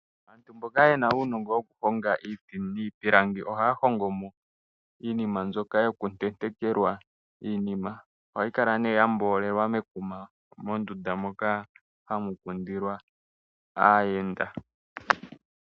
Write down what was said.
Aantu mboka yena uunongo wo ku honga iiti niipilanangi, ohaya hongomo iinima mbyoka yoku tentekelwa iinima. Ohayi kala nee ya mboolelwa mekuma momndunda moka hamu kundilwa aayenda.